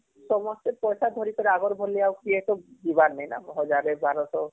ସମସ୍ତେ ପଇସା ଧରିକରି ଅଗର ଭଲି କିଏ ତ ଯିବାର ନାଇଁ ୧୦୦୦ ୧୨୦୦